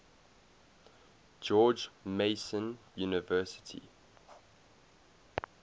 george mason university